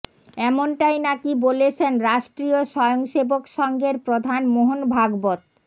এমনটাই নাকি বলেছেন রাষ্ট্রীয় স্বয়ং সেবক সংঘের প্রধান মোহন ভাগবত